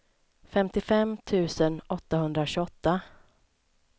femtiofem tusen åttahundratjugoåtta